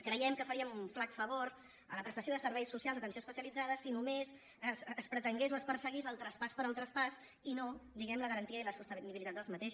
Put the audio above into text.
creiem que faríem un flac favor a la prestació de ser·veis socials d’atenció especialitzada si només es pre·tengués o es perseguís el traspàs pel traspàs i no di·guem·ne la garantia i la sostenibilitat d’aquests